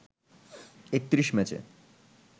৩১ ম্যাচে